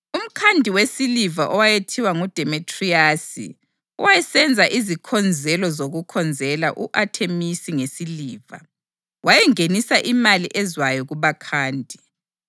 Umkhandi wesiliva owayethiwa nguDemetriyasi owayesenza izikhonzelo zokukhonzela u-Athemisi ngesiliva, wayengenisa imali ezwayo kubakhandi.